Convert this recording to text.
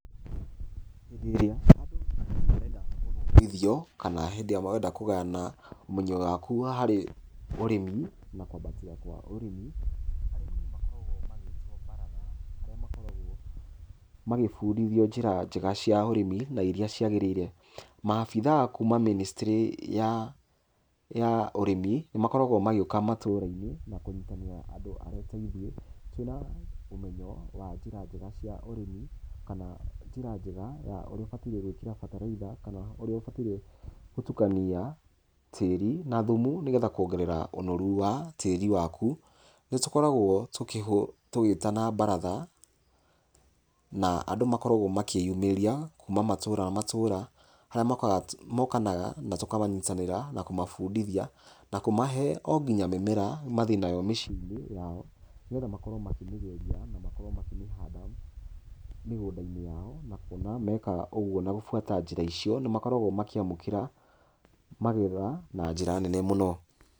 Hĩndĩ ĩrĩa andũ marenda gũthomithio, kana hĩndĩ ĩrĩa marenda kũgayana ũmenyo waku wa harĩ ũrĩmi na kwambatia kwa ũrĩmi, arĩmi nĩ makoragwo magĩtwo baratha harĩa makoragwo magĩbundithio njĩra njega cia ũrĩmi na iria ciagĩrĩire. Maabitha kuma mĩnĩcitĩrĩ ya ũrĩmi nĩ makoragwo magĩũka matũra-inĩ na kũnyitanĩra andũ arĩa ateithiĩ, twĩna ũmenyo wa njĩra njega cia ũrĩmi, kana njĩra njega ya ũrĩa ũbataire gwĩkĩra bataraitha kana ũrĩa ũbataire gũtukania tĩĩri na thumu, nĩgetha kũongerera ũnoru wa tĩĩri waku. Nĩ tũkoragwo tũgĩtana baratha, na andũ nĩ makoragwo makĩyũmĩria kuma matũra matũra, harĩa maũkanaga na tũkamanyitanĩra na tũkamabundithia, na kũmahe o nginya mĩmera mathiĩ nayo mĩciĩ-inĩ yao, nĩgetha makorwo makĩmĩgeria na makorwo makĩmĩhanda mĩgũnda-inĩ yao. Na kũona meekaga ũguo na gũbuata njĩra icio, nĩ makoragwo makĩamũkĩra magetha na njĩra nene mũno.